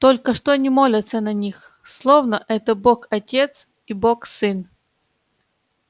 только что не молятся на них словно это бог-отец и бог-сын